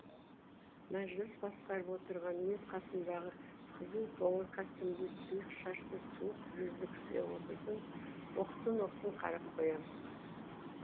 мәжіліс басқарып отырған мен қасымдағы қызыл қоңыр костюмді сұйық шашты суық жүзді кісіге оқтын оқтын қарап қоям